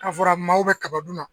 Na fɔra maaw be kaba dun na.